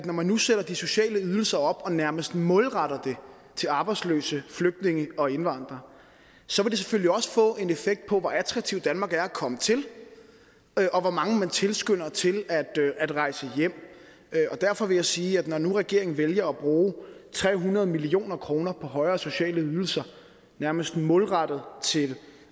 når man nu sætter de sociale ydelser op og nærmest målretter dem til arbejdsløse flygtninge og indvandrere selvfølgelig også vil få en effekt på hvor attraktiv danmark er at komme til og hvor mange man tilskynder til at rejse hjem derfor vil jeg sige at det når nu regeringen vælger at bruge tre hundrede million kroner på højere sociale ydelser nærmest målrettet til